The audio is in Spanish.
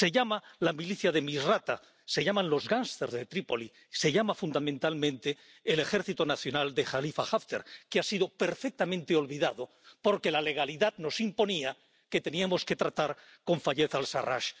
se llama la milicia de Misrata, se llama los gangsters de Trípoli, se llama fundamentalmente el Ejército Nacional de Jalifa Haftar, que ha sido perfectamente olvidado porque la legalidad nos imponía que teníamos que tratar con Fayez al Sarrach.